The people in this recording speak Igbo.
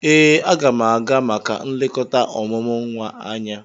Ee, a ga m aga maka nlekota omumu nwa anya.